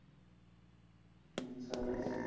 હમ સરસ